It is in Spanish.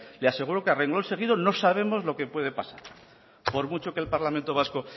le aseguro que a renglón seguido no sabemos lo que puede pasar por mucho que el parlamento vasco